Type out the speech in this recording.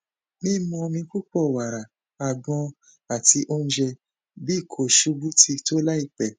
mimu omi pupọ wara agbon ati ounjẹ bi ko ṣubu ti to laipe